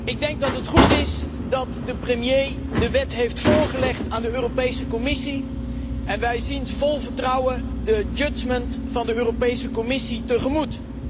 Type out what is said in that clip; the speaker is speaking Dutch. Ik denk dat het goed is dat de premier de wet heeft voorgelegd aan de Europese Commissie en wij zien vol vertrouwen het oordeel van de Europese Commissie tegemoet.